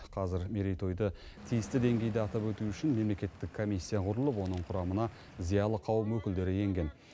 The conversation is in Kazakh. қазір мерейтойды тиісті деңгейде атап өту үшін мемлекеттік комиссия құрылып оның құрамына зиялы қауым өкілдері енген